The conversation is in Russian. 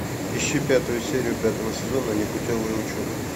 ищи пятую серию пятого сезона непутевая учеба